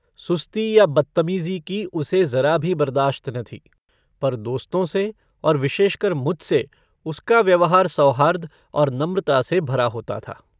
सुस्ती या बदतमीजी की उसे जरा भी बर्दाश्त न थी पर दोस्तों से और विशेषकर मुझसे उसका व्यवहार सौहार्द और नम्रता से भरा होता था।